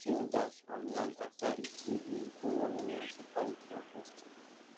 the king dash am land after e see d bring animals e carry come festival